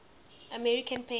american painters